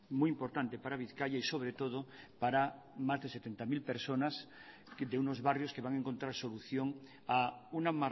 muy importante para bizkaia y sobre todo para más de setenta mil personas de unos barrios que van a encontrar solución a una